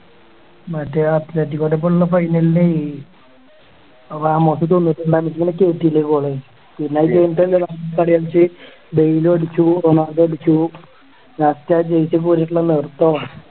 മറ്റേ ആ athletic core ക്കൊപ്പമുള്ള final ല് ആ മൊത്തം തൊണ്ണൂറ്റിരണ്ടാം minute ല് goal കളി കളിച്ച് ഡെയ്ൽ അടിച്ചു റൊണാൾഡോ അടിച്ചു last ആ ജയിച്ച് പോന്നിട്ടുള്ള നിർത്തം ആണ്